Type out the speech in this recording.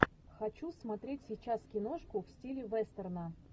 хочу смотреть сейчас киношку в стиле вестерна